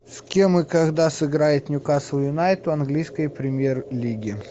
с кем и когда сыграет ньюкасл юнайтед в английской премьер лиги